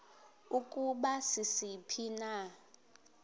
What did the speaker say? ukuba sisiphi na